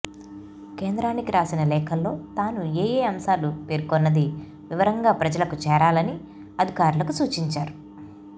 కేంద్రానికి రాసిన లేఖల్లో తాను ఏయే అంశాలు పేర్కొన్నది వివరంగా ప్రజలకు చేరాలని అధికారులకు సూచించారు